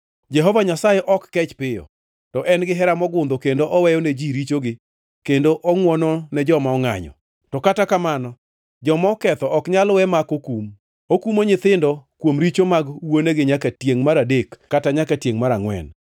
‘Jehova Nyasaye ok kech piyo, to en gihera mogundho kendo oweyo ne ji richogi kendo ongʼwono ne joma ongʼanyo. To kata kamano, joma oketho ok nyal we ma ok okum; okumo nyithindo kuom richo mag wuonegi nyaka tiengʼ mar adek kata nyaka tiengʼ mar angʼwen.’